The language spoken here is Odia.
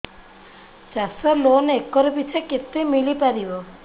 ଚାଷ ଲୋନ୍ ଏକର୍ ପିଛା କେତେ ମିଳି ପାରିବ